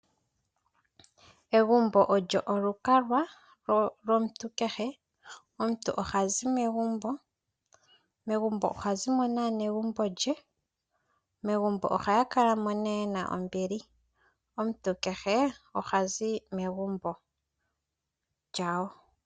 Egumbo olyo olukalwa lwomuntu kehe. Omuntu oha zi megumbo. Megumbo ohazi mo naanegumbo lye. Megumbo ohaya kala mo nee ye na ombili. Omuntu kehe ohazi megumbo lyawo.